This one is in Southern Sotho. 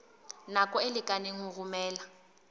nako e lekaneng ho romela